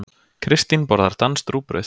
Kristín borðar danskt rúgbrauð.